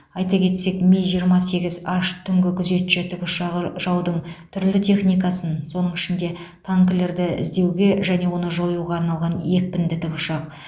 айта кетсек ми жиырма сегіз аш түнгі күзетші тікұшағы жаудың түрлі техникасын соның ішінде танкілерді іздеуге және оны жоюға арналған екпінді тікұшақ